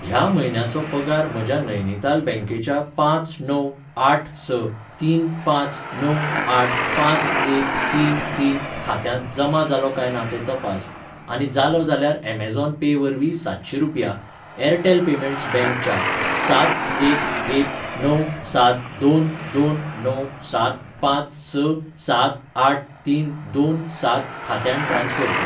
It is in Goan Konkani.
ह्या म्हयन्याचो पगार म्हज्या नैनीताल बँकेच्या पांच णव आठ स तीन पांच णव आठ पांच एक तीन तीन खात्यांत जमा जालो काय ना तें तपास, आनी जालो जाल्यार अमेझॉन पे वरवीं सातशी रुपया ऍरटॅल पेमेंट्स बँक च्या सात एक एक णव सात दोन दोन णव सात पांच स सात आठ तीन दोन सात खात्यांत ट्रान्स्फर कर.